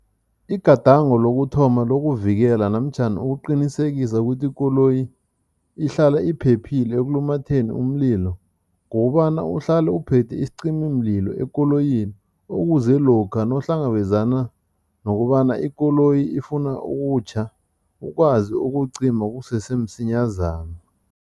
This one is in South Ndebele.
Igadango lokuthoma lokuvikela namtjhana ukuqinisekisa ukuthi ikoloyi ihlala iphephile ekulumatheni umlilo, kukobana uhlale uphethe isicimimlilo ekoloyini ukuze lokha nawuhlangabezana nokobana ikoloyi ifuna ukutjha, ukwazi ukucima kusesemsinyazana.